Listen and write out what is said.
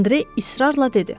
Andre israrla dedi.